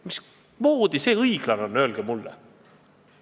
Mismoodi see õiglane on, öelge mulle!